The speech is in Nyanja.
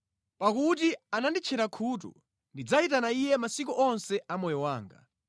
Pakuti ananditchera khutu, ndidzayitana Iye masiku onse a moyo wanga.